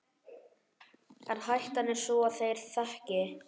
En hættan er sú að þeir þekki